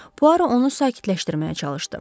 Puaro onu sakitləşdirməyə çalışdı.